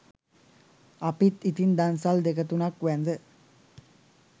අපිත් ඉතින් දන්සල් දෙක තුනක් වැඳ